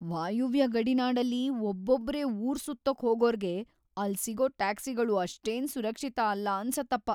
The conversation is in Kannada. ವಾಯುವ್ಯ ಗಡಿನಾಡಲ್ಲಿ ಒಬ್ಬೊಬ್ರೇ ಊರ್‌ ಸುತ್ತೋಕ್‌ ಹೋಗೋರ್ಗೆ ಅಲ್ಲ್‌ ಸಿಗೋ ಟ್ಯಾಕ್ಸಿಗಳು ಅಷ್ಟೇನ್ ಸುರಕ್ಷಿತ ಅಲ್ಲ ಅನ್ಸತ್ತಪ.